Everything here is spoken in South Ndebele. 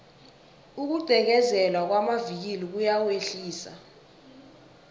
ukugqekezelwa kwamavikili kuyawehlisa